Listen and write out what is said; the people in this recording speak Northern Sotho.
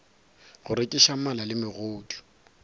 go rekiša mala le megodu